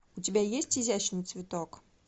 у тебя есть изящный цветок